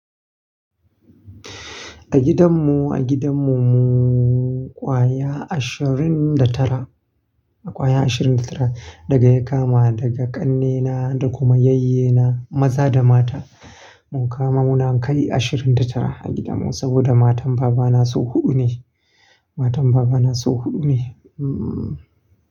A gidanmu, a gidanmu mu ƙwaya ashirin da tara, ƙwaya ashirin da tara daga ya kama daga ƙannena da kuma yayyena maza da mata. Mu kama mu na kai ashirin da tara a gidanmu saboda matan baba na sau huɗu ne, matan baba na sau huɗu ne. Hmm.